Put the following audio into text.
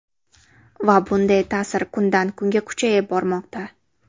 Va bunday ta’sir kundan kunga kuchayib bormoqda.